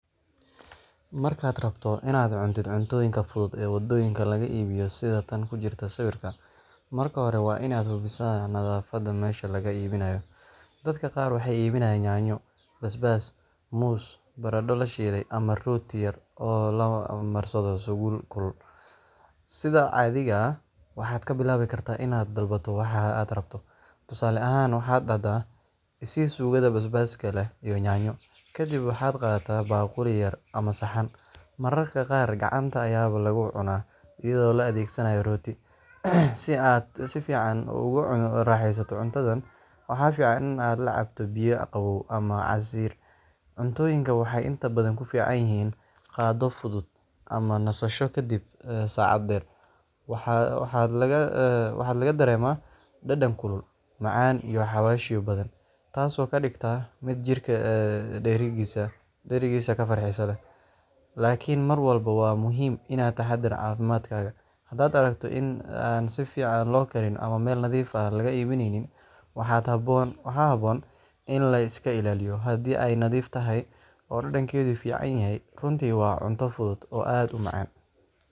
Markaad rabto inaad cuntid cuntooyinka fudud ee waddooyinka laga iibiyo sida tan ku jirta sawirka, marka hore waa inaad hubisaa nadaafadda meesha laga iibinayo. Dadka qaar waxay iibinayaan yaanyo, basbaas, muus, baradho la shiilay ama rooti yar oo la marsado suugo kulul. Sida caadiga ah, waxaad ka bilaabi kartaa inaad dalbato waxa aad rabto, tusaale ahaan, waxaad dhahdaa: i sii suugada basbaaska leh iyo yaanyo. Kadib waxaad qaadataa baaquli yar ama saxan, mararka qaar gacanta ayaaba lagu cunaa iyadoo loo adeegsado rooti. Si aad si fiican ugu raaxaysato cuntadan, waxaa fiican in aad la cabto biyo qabow ama casiir. Cuntooyinkan waxay inta badan ku fiican yihiin qado fudud ama nasasho kaddib socod dheer. Waxaa laga dareemaa dhadhan kulul, macaan iyo xawaashyo badan, taasoo ka dhigta mid jidhka dheregisa oo farxad leh. Laakiin mar walba waa muhiim inaad ka taxaddarto caafimaadkaaga hadaad aragto in aan si fiican loo karin ama meel nadiif ah laga iibinayn, waxaa habboon in la iska ilaaliyo. Haddii ay nadiif tahay oo dhadhankeedu fiican yahay, runtii waa cunto fudud oo aad u macaan.